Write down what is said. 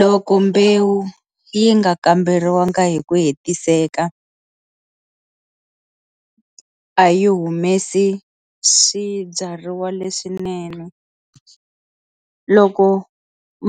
Loko mbewu yi nga kamberiwanga hi ku hetiseka a yi humesi swibyariwa leswinene loko